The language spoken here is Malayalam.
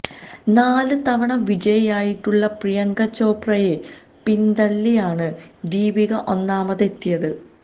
നാല് തവണ വിജയിയായിട്ടുള്ള പ്രിയങ്ക ചോപ്രയെ പിന്തള്ളിയാണ് ദീപിക ഒന്നാമതെത്തിയത്